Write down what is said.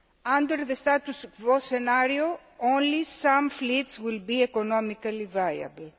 under the status quo scenario only some fleets will be economically viable.